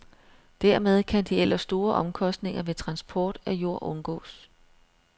Dermed kan de ellers store omkostninger ved transport af jord undgås.